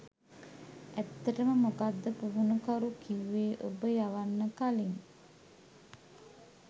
ඇත්තටම මොකක්ද පුහුණුකරු කිව්වේ ඔබ යවන්න කලින්?